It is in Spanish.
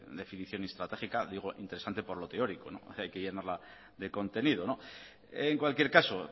definición estratégica digo interesante por lo teórico hay que llenarla de contenido en cualquier caso